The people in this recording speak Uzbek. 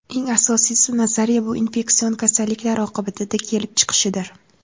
Eng asosiy nazariya bu infeksion kasalliklar oqibatida kelib chiqishidir.